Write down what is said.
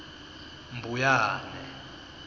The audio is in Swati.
mbuyane